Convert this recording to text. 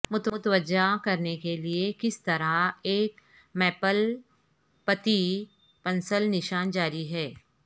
متوجہ کرنے کے لئے کس طرح ایک میپل پتی پنسل نشان جاری رہے